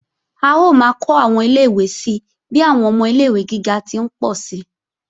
A ó máa kó àwọn ilé-ìwé si bí àwọn ọmọ ilé-ìwé gíga ti ń pọ̀ si